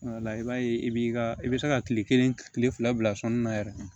i b'a ye i b'i ka i bɛ se ka kile kelen kile fila bila sɔnni na yɛrɛ